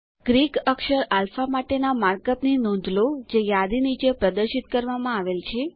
Greek અક્ષર alpha માટેના markup ની નોંધ લો જે યાદી નીચે પ્રદર્શિત કરવામાં આવેલ છે